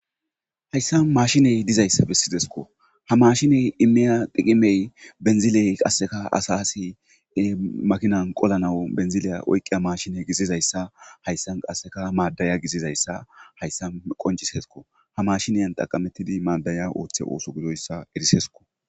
Hayssa mashiney dizayssa bessideskko ha maashiney immeya diqimey benziley qasseka asaasi makinan qolanawu benzileya oyqqiya maashine gizizayssa hayssan qasseka maaddaya gizizayssa hayssa qoncis hesko ha mashineyan taqamettidi maaddaya ooththe ooso gidoyssa erisesko.